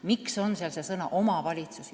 Miks on seal sõna "omavalitsus"?